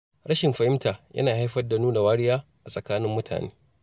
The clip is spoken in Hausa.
Rashin fahimta yana haifar da nuna wariya a tsakanin jama’a.